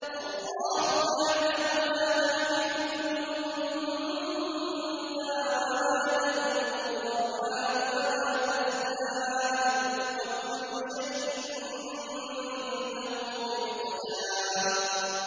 اللَّهُ يَعْلَمُ مَا تَحْمِلُ كُلُّ أُنثَىٰ وَمَا تَغِيضُ الْأَرْحَامُ وَمَا تَزْدَادُ ۖ وَكُلُّ شَيْءٍ عِندَهُ بِمِقْدَارٍ